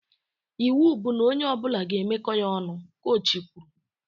Iwu bụ na onye ọbụla ga-emeko ya ọnụ! Kochi kwuru